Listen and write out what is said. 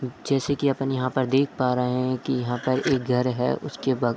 जैसे कि अपन यहां देख पा रहे हैं कि यहां पर एक घर है उसके बगल--